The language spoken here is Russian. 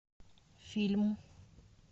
фильм